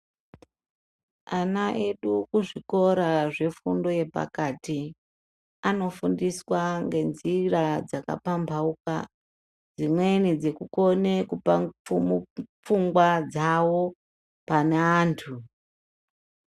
Ana edu kuzvikora zvefundo yepakati anofundiswa ngenjira dzakapambauka dzimweni dzekukone pfungwa dzawo pane antu.